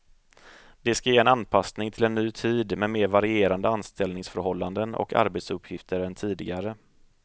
Det ska ge en anpassning till en ny tid med mer varierande anställningsförhållanden och arbetsuppgifter än tidigare.